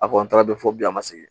A kɔni taara don fɔ bi a ma segin